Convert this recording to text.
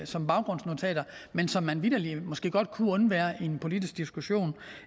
som baggrundsnotater men som man vitterlig måske godt kunne undvære i en politisk diskussion